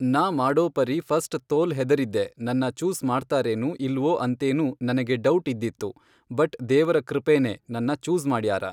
ನಾ ಮಾಡೋ ಪರಿ ಫರ್ಸ್ಟ್ ತೋಲ್ ಹೆದರಿದ್ದೆ ನನ್ನ ಚೂಸ್ ಮಾಡ್ತಾರೇನು ಇಲ್ವೋ ಅಂತೇನು ನನಗೆ ಡೌಟ್ ಇದ್ದಿತ್ತು ಬಟ್ ದೇವರ ಕೃಪೇನೆ ನನ್ನ ಚೂಸ್ ಮಾಡ್ಯಾರ.